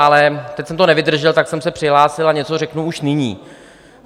Ale teď jsem to nevydržel, tak jsem se přihlásil a něco řeknu už nyní.